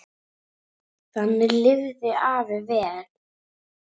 Þannig lifði afi vel.